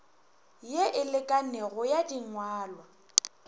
ye e lekanego ya dingwalwa